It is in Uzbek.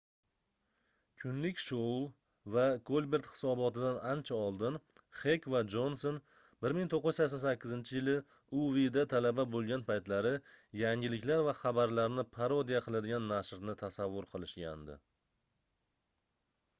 "kunlik shou va kolbert hisoboti"dan ancha oldin xek va jonson 1988-yili uwda talaba bo'lgan paytlari yangiliklar va xabarlarni parodiya qiladigan nashrni tasavvur qilishgandi